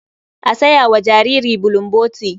A saya wa jariri bulomboti.